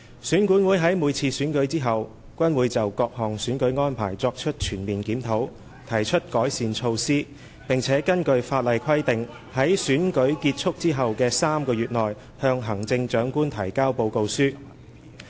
選管會在每次選舉後均會就各項選舉安排作出全面檢討，提出改善措施，並根據法例規定在選舉結束後的3個月內向行政長官提交報告書。